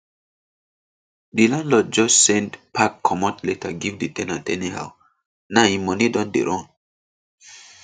di landlord just send pack comot letter give di ten ant anyhow now im money don dey run